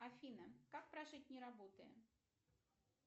афина как прожить не работая